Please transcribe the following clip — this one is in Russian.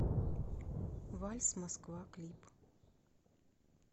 вальс москва клип